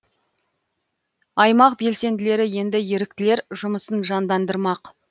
аймақ белсенділері енді еріктілер жұмысын жандандырмақ